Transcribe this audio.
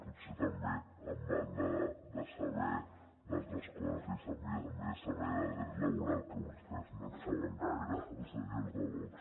potser també a banda de saber d’altres coses els hi aniria bé també saber de dret laboral que vostès no en saben gaire els senyors de vox